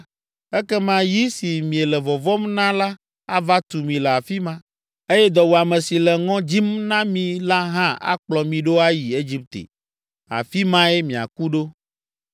ekema yi si miele vɔvɔ̃m na la ava tu mi le afi ma eye dɔwuame si le ŋɔ dzim na mi la hã akplɔ mi ɖo ayi Egipte, afi mae miaku ɖo.